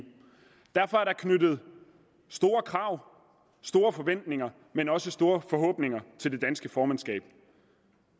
derfor er der knyttet store krav og store forventninger men også store forhåbninger til det danske formandskab